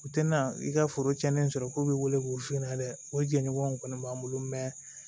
U tɛna i ka foro tiɲɛnen sɔrɔ ko b'i wele k'u f'i ɲɛna dɛ o jɛɲɔgɔnw kɔni b'an bolo